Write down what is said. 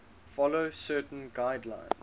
follow certain guidelines